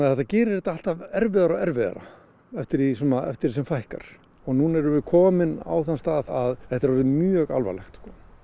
þetta gerir þetta alltaf erfiðara og erfiðara eftir því eftir því sem fækkar nú erum við komin á þann stað að þetta er orðið mjög alvarlegt